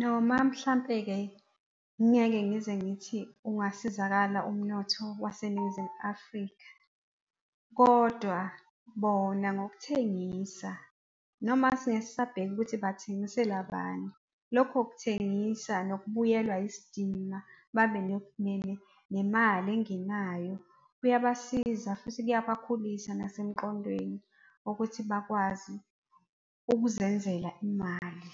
Noma mhlampe-ke ngingeke ngize ngithi ungasizakala umnotho waseNingizimu Afrika kodwa bona ngokuthengisa noma singeke sisabheka ukuthi bathengisela bani. Lokho kuthengisa nokubuyelwa isidima, babe nemali engenayo, kuyabasiza futhi kuyabakhulisa nasemqondweni ukuthi bakwazi ukuzenzela imali.